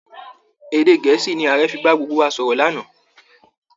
Èdè Gẹ̀ẹ́sì ni Ààrẹ fi bá gbogbo wa sọ̀rọ̀ lánàá